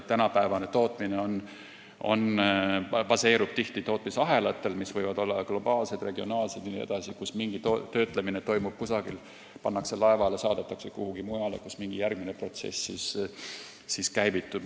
Tänapäevane tootmine baseerub tihti tootmisahelatel, mis võivad olla globaalsed, regionaalsed jne, nii et töötlemine toimub kusagil mujal, pannakse laevale, saadetakse kuhugi, kus käivitub mingi järgmine protsess.